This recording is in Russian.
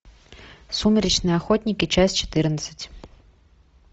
сумеречные охотники часть четырнадцать